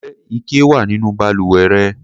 Ǹjẹ́ ike wà nínú balùwẹ̀ rẹ?